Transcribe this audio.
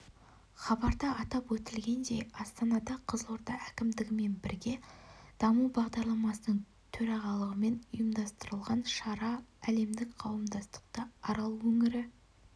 хабарда атап өтілгендей астанада қызылорда әкімдігімен бірге даму бағдарламасының төрағалығымен ұйымдастырылған шара әлемдік қауымдастықты арал өңірі